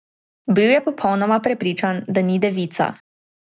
Bil je popolnoma prepričan, da ni devica.